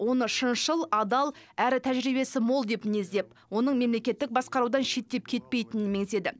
оны шыншыл адал әрі тәжірибесі мол деп мінездеп оның мемлекеттік басқарудан шеттеп кетпейтінін меңзеді